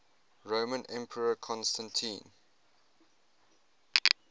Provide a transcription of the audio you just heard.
roman emperor constantine